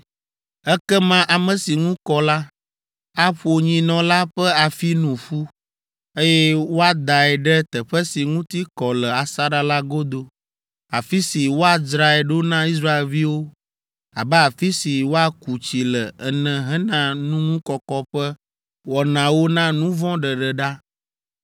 “Ekema ame si ŋu kɔ la, aƒo nyinɔ la ƒe afi nu ƒu, eye woadae ɖe teƒe si ŋuti kɔ le asaɖa la godo afi si woadzrae ɖo na Israelviwo abe afi si woaku tsi le ene hena nuŋukɔkɔ ƒe wɔnawo na nu vɔ̃ ɖeɖe ɖa.